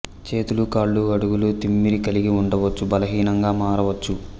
చేతులు కాళ్ళు అడుగులు తిమ్మిరి కలిగి ఉండవచ్చు బలహీనంగా మారవచ్చు